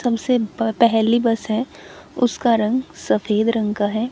सबसे प पहली बस है उसका रंग सफेद रंग का है।